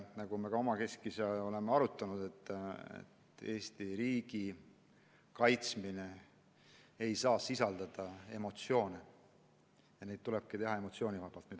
Nagu me ka omakeskis oleme arutanud, Eesti riigi kaitsmist ei saa võtta emotsioonidega, aruelusid tulebki teha emotsioonivabalt.